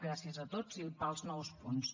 gràcies a tots i pels nous punts